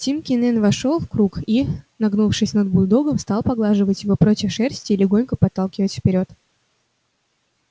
тим кинен вошёл в круг и нагнувшись над бульдогом стал поглаживать его против шерсти и легонько подталкивать вперёд